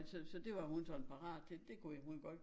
Så så det var hun sådan parat til det kunne hun godt